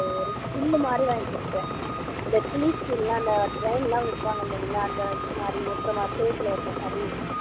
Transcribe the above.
ஒரு still மாதிரி வாங்கி குடுத்தேன் இந்த train ல எல்லாம் விப்பாங்க இல்லைங்களா அந்த இதுமாதிரி ஓட்டுற மாதிரி சுவத்துல ஓட்டுற மாதிரி அவங்களுக்கு